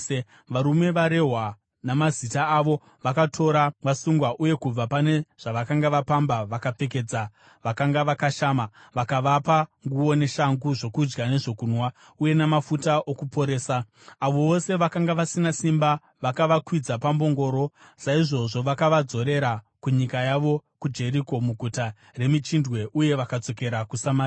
Varume varehwa namazita avo vakatora vasungwa uye kubva pane zvavakanga vapamba vakapfekedza vakanga vakashama. Vakavapa nguo neshangu, zvokudya nezvokunwa, uye namafuta okuporesa. Avo vose vakanga vasina simba vakavakwidza pambongoro. Saizvozvo vakavadzorera kunyika yavo kuJeriko, muGuta reMichindwe uye vakadzokera kuSamaria.